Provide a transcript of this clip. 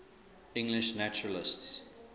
english naturalists